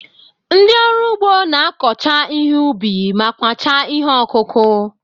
Ndị ọrụ ugbo na-akọcha ihe ubi ma kwachaa ihe ọkụkụ.